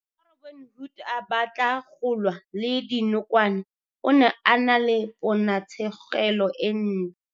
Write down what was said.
Fa Robin-Hood a batla go lwa le dinokwane, o ne a na le ponatshêgêlô e ntlê.